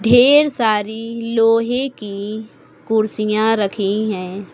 ढेर सारी लोहे की कुर्सियां रखी है।